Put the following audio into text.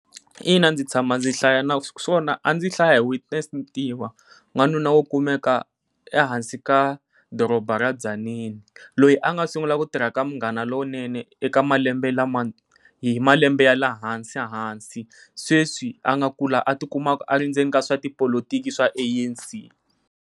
Ina ndzi tshama ndzi hlaya, naswona a ndzi hlaya hi Witness Ntiva n'wanuna wo kumeka ehansi ka doroba ra Tzaneen. Loyi a nga sungula ku tirha ka Munghana Lowunene eka malembe lama hi malembe ya lehansi hansi, sweswi a nga kula a ti kuma a ri ndzeni ka tipolotiki swa A_N_C.